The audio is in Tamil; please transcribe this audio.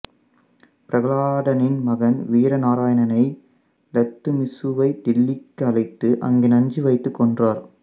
பிரகலாதனின் மகன் வீரநாராயணனை இல்த்துமிசுவை தில்லிக்கு அழைத்து அங்கே நஞ்சு வைத்து கொன்றார்